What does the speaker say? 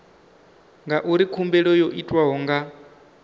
ngauri khumbelo yo itwa nga